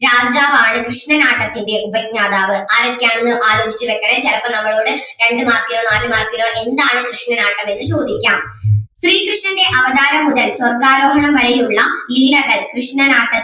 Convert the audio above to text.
രാജാവാണ് കൃഷ്ണനാട്ടത്തിൻ്റെ ഉപജ്ഞാതാവ് ആരൊക്കെയാണെന്ന് ആലോചിച്ച് വെക്കണേ ചെലപ്പോ നമ്മളോട് രണ്ടു mark നോ നാല് mark നോ എന്താണ് കൃഷ്ണനാട്ടം എന്ന് ചോദിക്കാം. ശ്രീകൃഷ്ണൻ്റെ അവതാരം മുതൽ സ്വർഗ്ഗാരോഹണം വരെ ഉള്ള ലീലകൾ കൃഷ്ണനാട്ടത്തിൽ